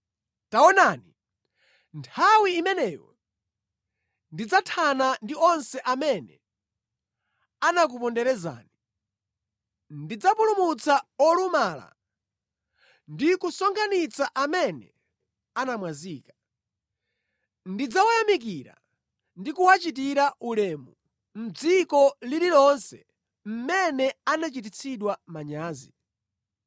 Taonani, nthawi imeneyo ndidzathana ndi onse amene anakuponderezani; ndidzapulumutsa olumala ndi kusonkhanitsa amene anamwazika. Ndidzawayamikira ndi kuwachitira ulemu mʼdziko lililonse mmene anachititsidwa manyazi.